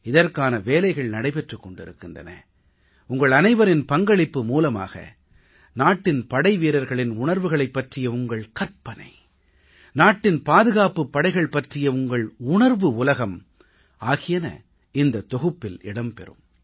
இதற்கான வேலைகள் நடைபெற்றுக் கொண்டிருக்கின்றன உங்கள் அனைவரின் பங்களிப்பு மூலமாக நாட்டின் படைவீரர்களின் உணர்வுகளை பற்றிய உங்கள் கற்பனை நாட்டின் பாதுகாப்புப் படைகள் பற்றிய உங்கள் உணர்வுஉலகம் ஆகியன இந்தத் தொகுப்பில் இடம் பெறும்